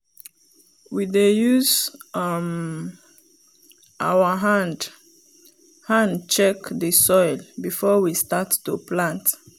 i learn to dey collect and keep cassava skin so we go use am for feed during dey season